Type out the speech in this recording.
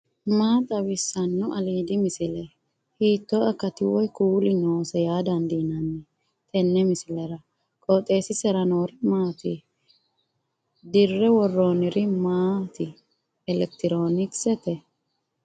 maa xawissanno aliidi misile ? hiitto akati woy kuuli noose yaa dandiinanni tenne misilera? qooxeessisera noori maati ? dirre worronniri maati elekitirooonkisete